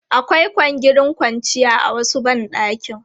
Akwai kwangirin kwanciya a wasu ban ɗakin.